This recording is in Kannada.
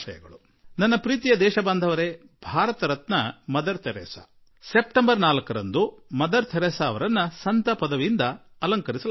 ನನ್ನೊಲವಿನ ಪೌರರೇ ಭಾರತರತ್ನ ಮದರ್ ಥೆರೇಸಾ ಅವರಿಗೆ ಸೆಪ್ಟೆಂಬರ್ 4ರಂದು ಸಂತರ ಪದವಿ ಪ್ರದಾನ ಮಾಡಿ ಗೌರವ ತೋರಿಸಲಾಗುತ್ತಿದೆ